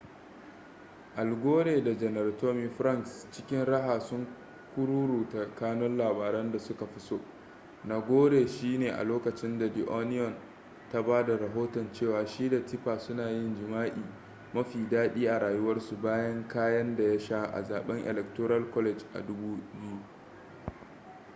al gore da janar tommy franks cikin raha sun kururuta kanun labaran da suka fi so na gore shi ne a lokacin da the onion ta ba da rahoton cewa shi da tipper suna yin jima’i ma fi daɗi a rayuwarsu bayan kayen da ya sha a zaben electoral college a 2000